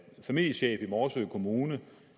familiechef i morsø kommune